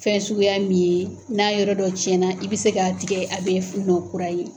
Fɛn suguya min n'a yɔrɔ dɔ cɛnna i bɛ se k'a tigɛ a bɛ wolo kura ye.